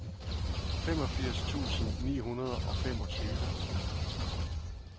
femogfirs tusind ni hundrede og femogtyve